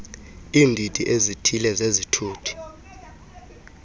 iindidi ezithile zezithuthi